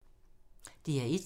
DR1